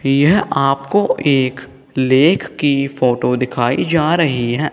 यह आपको एक लेख की फोटो दिखाई जा रही है।